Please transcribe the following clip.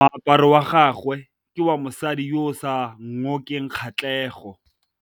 Moaparô wa gagwe ke wa mosadi yo o sa ngôkeng kgatlhegô.